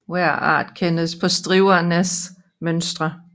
Hver art kendes på stribernes mønstre